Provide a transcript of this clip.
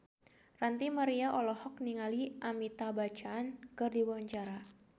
Ranty Maria olohok ningali Amitabh Bachchan keur diwawancara